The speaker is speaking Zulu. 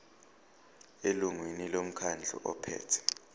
elungwini lomkhandlu ophethe